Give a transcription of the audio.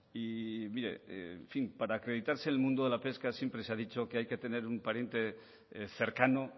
y mire en fin para acreditarse en el mundo de la pesca siempre se ha dicho que hay que tener un pariente cercano